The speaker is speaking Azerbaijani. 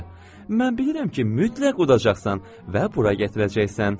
Mən bilirəm ki, mütləq udacaqsan və bura gətirəcəksən.